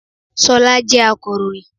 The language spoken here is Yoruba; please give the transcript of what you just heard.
Ṣọlá jẹ́ akọ̀ròyìn